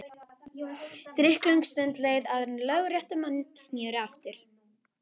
Drykklöng stund leið áður en lögréttumenn sneru aftur.